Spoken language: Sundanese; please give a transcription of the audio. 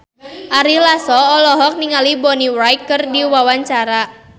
Ari Lasso olohok ningali Bonnie Wright keur diwawancara